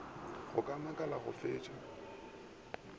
go go makala go fetša